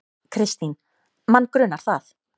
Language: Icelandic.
Kristín: Mann grunar það.